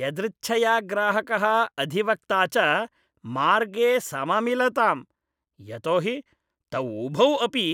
यदृच्छया ग्राहकः अधिवक्ता च मार्गे सममिलताम्, यतोहि तौ उभौ अपि